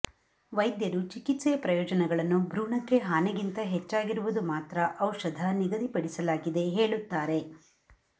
ವೈದ್ಯರು ಚಿಕಿತ್ಸೆಯ ಪ್ರಯೋಜನಗಳನ್ನು ಭ್ರೂಣಕ್ಕೆ ಹಾನಿ ಗಿಂತ ಹೆಚ್ಚಾಗಿರುವುದು ಮಾತ್ರ ಔಷಧ ನಿಗದಿಪಡಿಸಲಾಗಿದೆ ಹೇಳುತ್ತಾರೆ